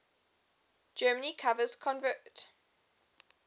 germany covers convert